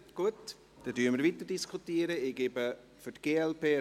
Gut, dann diskutieren wir weiter.